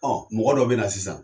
Ɔ mɔgɔ dɔ bɛ na sisan